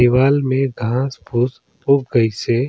दीवाल में घाँस फुस उग गइसे--